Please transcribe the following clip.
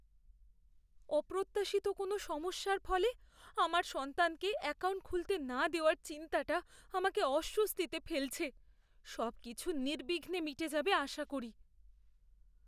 অপ্রত্যাশিত কোনও সমস্যার ফলে আমার সন্তানকে অ্যাকাউন্ট খুলতে না দেওয়ার চিন্তাটা আমাকে অস্বস্তিতে ফেলছে, সবকিছু নির্বিঘ্নে মিটে যাবে আশা করি।